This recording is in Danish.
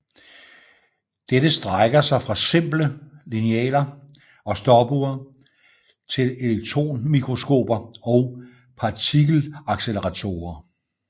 Dette strækker sig fra simple linealer og stopure til elektronmikroskoper og partikelacceleratorer